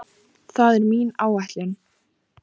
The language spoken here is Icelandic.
Það er mín áætlun